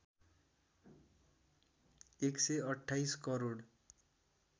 १२८ crore